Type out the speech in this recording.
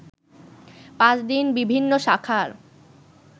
পাঁচ দিন বিভিন্ন শাখার